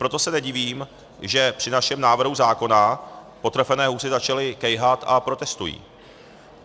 Proto se nedivím, že při našem návrhu zákona potrefené husy začaly kejhat a protestují.